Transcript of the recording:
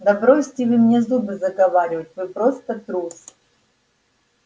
да бросьте вы мне зубы заговаривать вы просто трус